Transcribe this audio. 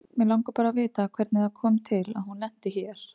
Mig langar bara að vita hvernig það kom til að hún lenti hér.